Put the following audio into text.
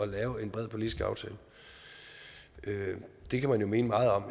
lave en bred politisk aftale det kan man jo mene meget om